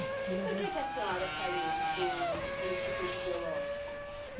E por que que a senhora saiu do do Instituto Biológico?